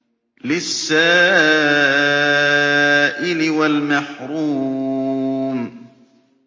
لِّلسَّائِلِ وَالْمَحْرُومِ